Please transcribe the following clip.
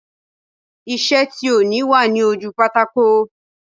Iṣẹ́ tí òní wà ní ojú pátákò